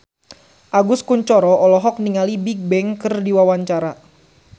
Agus Kuncoro olohok ningali Bigbang keur diwawancara